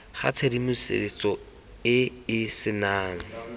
ga tshedimosetso e e senang